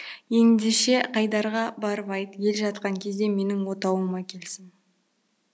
ендеше қайдарға барып айт ел жатқан кезде менің отауыма келсін